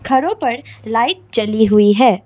घरों पर लाइट जली हुई है।